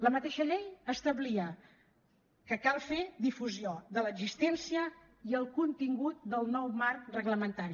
la mateixa llei establia que cal fer difusió de l’existència i el contingut del nou marc reglamentari